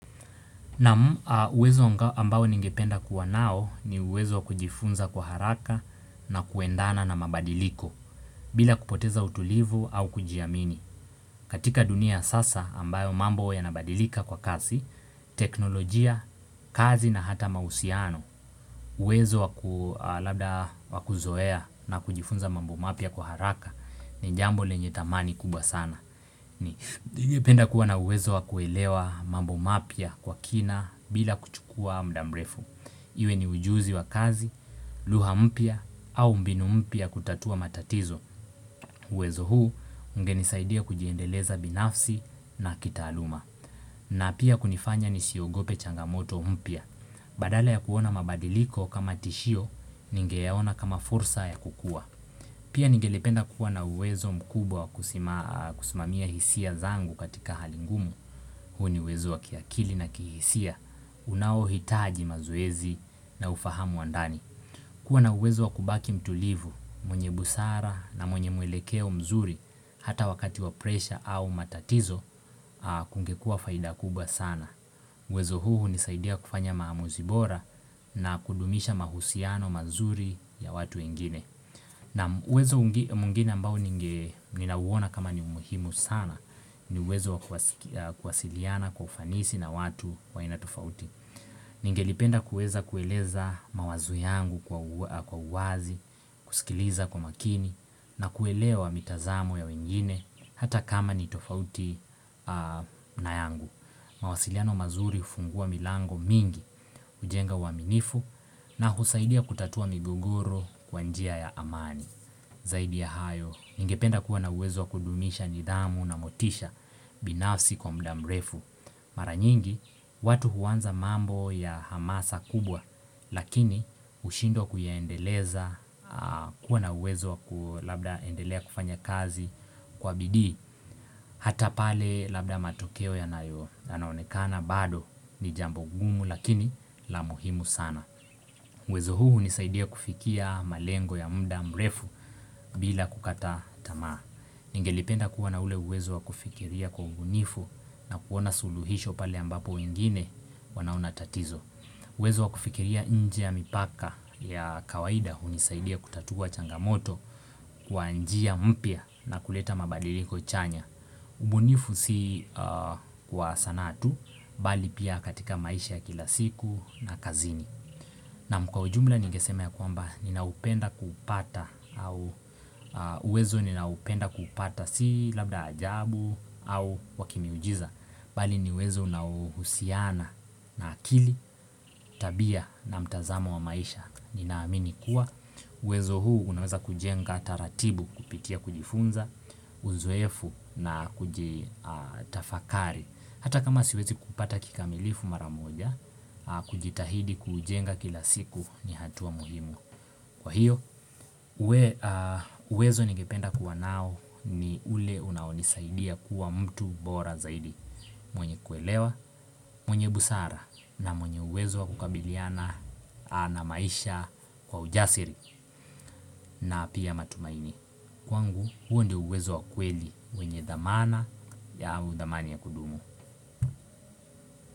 Naam uwezo ambayo ningependa kuwa nao ni uwezo wa kujifunza kwa haraka na kuendana na mabadiliko bila kupoteza utulivu au kujiamini katika dunia sasa ambayo mambo yanabadilika kwa kazi, teknolojia, kazi na hata mahusiano uwezo wakuzoea na kujifunza mambo mapya kwa haraka ni jambo lenye thamani kubwa sana ni penda kuwa na uwezo wa kuelewa mambo mapya kwa kina bila kuchukua mudamrefu Iwe ni ujuzi wa kazi, lugha mpya au mbinu mpya ya kutatua matatizo uwezo huu ungenisaidia kujiendeleza binafsi na kitaaluma na pia kunifanya ni siogope changamoto mpya Badala ya kuona mabadiliko kama tishio ninge yaona kama fursa ya kukua Pia nigelipenda kuwa na uwezo mkubwa kusimamia hisia zangu katika hali ngumu, huo ni uwezo wa kiakili na kihisia, unao hitaji mazoezi na ufahamu wa ndani. Kuwa na uwezo wa kubaki mtulivu, mwenye busara na mwenye mwelekeo mzuri hata wakati wa presha au matatizo, kungekua faida kubwa sana. Uwezo huu unisaidia kufanya maamuzibora na kudumisha mahusiano mazuri ya watu wengine. Na uwezo mwingine ambao ninauona kama ni umuhimu sana ni uwezo kuwasiliana kwa ufanisi na watu wa aina tofauti. Ninge lipenda kueza kueleza mawazo yangu kwa uwazi, kusikiliza kwa makini na kuelewa mitazamo ya wengine hata kama ni tofauti na yangu. Mawasiliano mazuri hufungua milango mingi, ujenga uwaminifu na husaidia kutatua migogoro kwa njia ya amani. Zaidi ya hayo, ningependa kuwa na uwezo kudumisha nidhamu na motisha binafsi kwa mudamrefu. Maranyingi, watu huanza mambo ya hamasa kubwa, lakini hushindwa kuyaendeleza, kuwa na uwezo kulabda endelea kufanya kazi, Kwa bidii, hata pale labda matokeo yanayo na yanaonekana bado ni jambo gumu lakini la muhimu sana. Uwezo huu unisaidia kufikia malengo ya muda mrefu bila kukata tamaa. Ningelipenda kuwa na uwezo wa kufikiria kwa ubunifu na kuona suluhisho pale ambapo wengine wanaona tatizo. Uwezo wa kufikiria nje ya mipaka ya kawaida hunisaidia kutatua changamoto kwa njia mpia na kuleta mabadiliko chanya. Ubunifu si kwa sanaa tu, bali pia katika maisha ya kila siku na kazini. Naam kwa ujumla ningeseme ya kwamba ninaupenda kuupata au uwezo ninaupenda kupata si labda ajabu au wakimiujiza. Bali ni uwezo unaohusiana na akili, tabia na mtazamo wa maisha. Ninaamini kuwa, uwezo huu unaweza kujenga taratibu kupitia kujifunza, uzoefu na kujitafakari Hata kama siwezi kupata kikamilifu maramoja, kujitahidi kujenga kila siku ni hatua muhimu Kwa hiyo, wezo nigependa kuwa nao ni ule unaonisaidia kuwa mtu bora zaidi mwenye kuelewa, mwenye busara na mwenye uwezo wa kukabiliana na maisha kwa ujasiri na pia matumaini Kwangu huo ndio uwezo wa kweli wenye dhamana au dhamani ya kudumu.